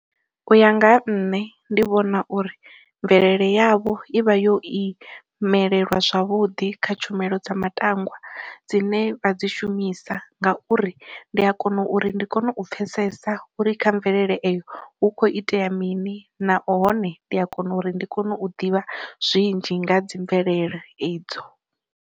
U ya nga ha nṋe ndi vhona uri mvelele yavho i vha yo i imelelwa zwavhuḓi kha tshumelo dza matangwa dzine vha dzi shumisa, nga uri ndi a kona uri ndi kone u pfesesa uri kha mvelele eyo hu kho itea mini, nahone ndi a kona uri ndi kone u ḓivha zwinzhi nga ha dzi mvelele idzo.